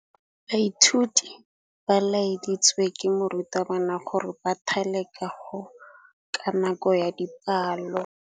Baithuti ba laeditswe ke morutabana gore ba thale kagô ka nako ya dipalô.